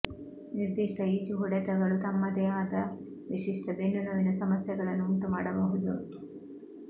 ನಿರ್ದಿಷ್ಟ ಈಜು ಹೊಡೆತಗಳು ತಮ್ಮದೇ ಆದ ವಿಶಿಷ್ಟ ಬೆನ್ನುನೋವಿನ ಸಮಸ್ಯೆಗಳನ್ನು ಉಂಟುಮಾಡಬಹುದು